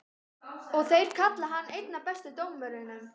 Og þeir kalla hann einn af bestu dómurunum?